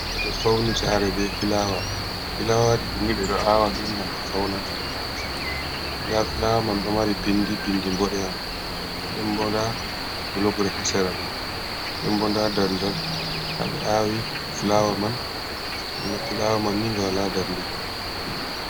Ɓeɗo fauni sare be fulawa, filawaji ɗini ɓeɗo awaɗi gam ɓe fauna chi’e, nda fulawa man ɗo mari pindi pindi ɓoɗeha ɗembo nda blogre ha sera man dembo nda daldal haɓe awi fulawa man ga fulawa man ni nga wala darde kam.